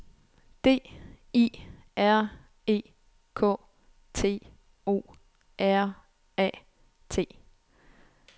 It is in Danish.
D I R E K T O R A T